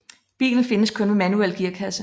Bilen findes kun med manuel gearkasse